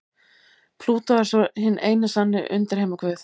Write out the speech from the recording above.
Plútó er svo hinn eini sanni undirheimaguð.